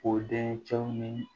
O dencɛw ni